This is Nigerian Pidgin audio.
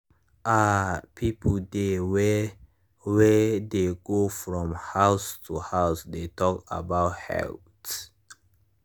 ah people dey wey wey dey go from house to house dey talk about health.